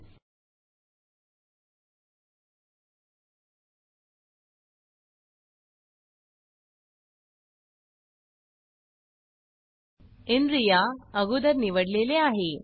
inriaइनरिया अगोदर निवडलेले आहे